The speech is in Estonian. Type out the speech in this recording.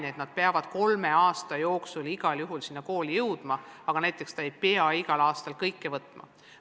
Tasemetööd peavad igal juhul kolme aasta jooksul sinna kooli jõudma, küll aga ei pea kool igal aastal kõiki aineid võtma.